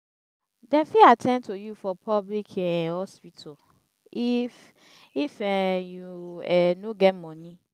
dem fit at ten d to you for public um hospital if if um you um no get moni.